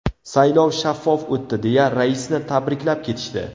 Saylov shaffof o‘tdi deya raisni tabriklab ketishdi.